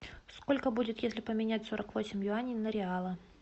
сколько будет если поменять сорок восемь юаней на реалы